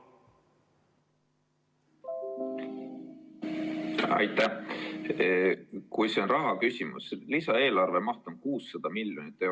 Kui küsimus on rahas, siis lisaeelarve maht on 600 miljonit eurot.